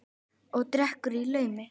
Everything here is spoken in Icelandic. Og drekkur í laumi.